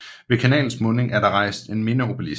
Ved kanalens munding er der rejst en mindeeobelisk